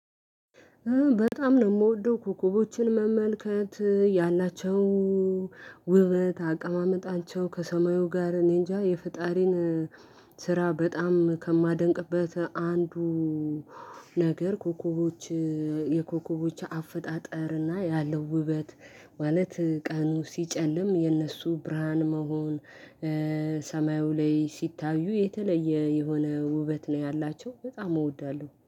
በጣም ነው የምወደው ኮከቦችን መመልከት ያላቸው ውበት አቀማመጣቸው ከሰማዩ ጋር እኔንጃ የፈጣሪን ስራ በጣም ከማደንቅበት አንዱ። ነገር ኮኮቦች የኮኮቦች አፈጣጠርና ያለው ውበት ማለት ቀኑ ሲጨልም የእነሱ ብርሃን መሆን። ሰማዩ ላይ ሲታዩ የተለየ የሆነ ውበት ነው ያላቸው በጣም እወዳለሁ